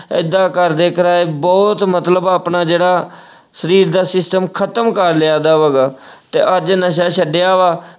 ਐਦਾਂ ਕਰਦੇ ਕਰਾਏ ਬਹੁਤ ਮਤਲਬ ਆਪਣਾ ਜਿਹੜਾ ਅਹ ਸਰੀਰ ਦਾ system ਖ਼ਤਮ ਕਰ ਲਿਆ ਐਦਾ ਵਾ ਹੈਗਾ ਅਹ ਤੇ ਅੱਜ ਨਸ਼ਾ ਛੱਡਿਆ ਵਾ।